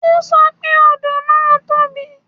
O sọ pé odò náà tóbi